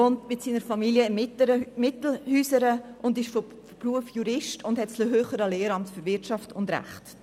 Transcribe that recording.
Er wohnt mit seiner Familie in Mittelhäusern, ist von Beruf Jurist und hat das höhere Lehramt für Wirtschaft und Recht.